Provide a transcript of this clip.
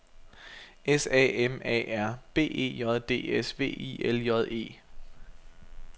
S A M A R B E J D S V I L J E